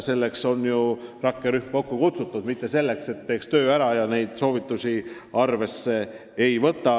Selleks ju rakkerühm kokku ongi kutsutud, mitte selleks, et ta teeks töö ära, aga kedagi need soovitused ei huvita.